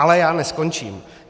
Ale já neskončím.